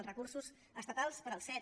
els recursos estatals per als cet